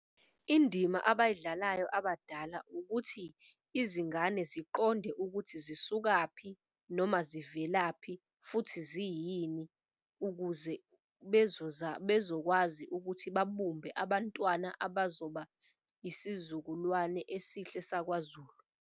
Indima abayidlalayo abadala ukuthi izingane ziqonde ukuthi zisukaphi noma zivelaphi futhi ziyini. Ukuze bezokwazi ukuthi babumbe abantwana abazoba isizukulwane esihle sakwaZulu.